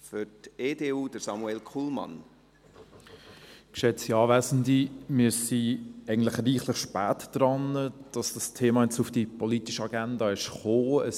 Wir sind reichlich spät dran, dass dieses Thema jetzt auf die politische Agenda gekommen ist.